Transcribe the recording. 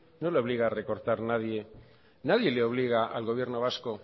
no le obliga a recortar nadie nadie le obliga al gobierno vasco